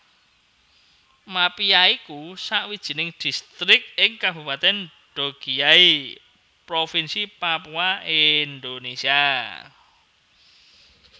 Mapia iku sawijining distrik ing Kabupatèn Dogiyai Provinsi Papua Indonesia